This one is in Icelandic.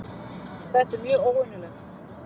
Þetta er mjög óvenjulegt